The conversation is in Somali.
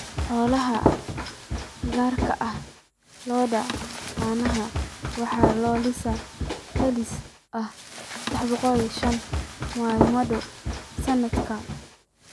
Xoolaha, gaar ahaan lo'da caanaha, waxaa la lisaa celcelis ahaan 305 maalmood sanadkii.